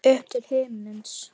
Upp til himins.